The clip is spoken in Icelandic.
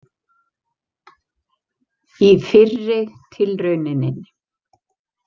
Í fyrri tilrauninni.